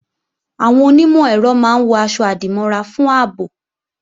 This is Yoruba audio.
Àwọn onímọ̀-ẹ̀rọ máa ń wọ̀ aṣọ-àdìmọ́ra fún ààbò